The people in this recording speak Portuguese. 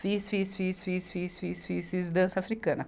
Fiz, fiz, fiz, fiz, fiz, fiz, fiz, fiz dança africana.